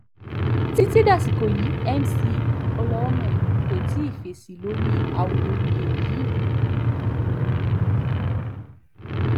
títí dasìkò yìí mc olhomme kò tí ì fèsì lórí awuyewuye yìí